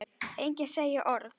Enginn segir orð.